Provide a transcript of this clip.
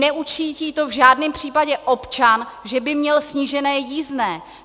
Neucítí to v žádném případě občan, že by měl snížené jízdné.